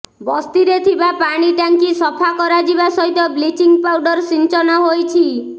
ବସ୍ତିରେ ଥିବା ପାଣି ଟାଙ୍କି ସଫା କରାଯିବା ସହିତ ବ୍ଲିଚିଂ ପାଉଡର ସିଞ୍ଚନ ହୋଇଛି